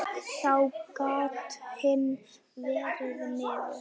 Þá gat hitt farið niður.